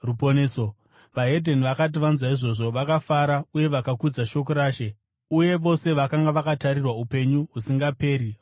VeDzimwe Ndudzi vakati vanzwa izvozvo, vakafara uye vakakudza shoko raShe; uye vose vakanga vakatarirwa upenyu husingaperi vakatenda.